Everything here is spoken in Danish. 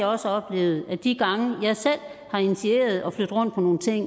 også oplevet at de gange jeg selv har initieret at flytte rundt på nogle ting